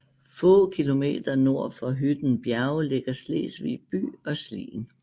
Få kilometer nord for Hytten Bjerge ligger Slesvig by og Slien